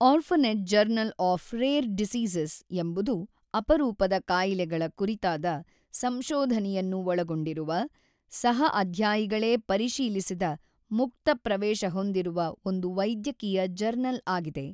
Orphanet journal of rare diseases ಎಂಬುದು ಅಪರೂಪದ ಕಾಯಿಲೆಗಳ ಕುರಿತಾದ ಸಂಶೋಧನೆಯನ್ನು ಒಳಗೊಂಡಿರುವ ಸಹ ಅಧ್ಯಾಯಿಗಳೇ ಪರಿಶೀಲಿಸಿದ ಮುಕ್ತ-ಪ್ರವೇಶ ಹೊಂದಿರುವ ಒಂದು ವೈದ್ಯಕೀಯ ಜರ್ನಲ್ ಆಗಿದೆ.